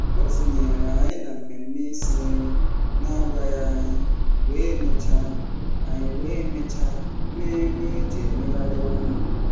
O sonyeere anyị na mmemme isi nri na-agwaghị anyị wee mechaa anyị wee mechaa mee nri e ji emegharị ọnụ.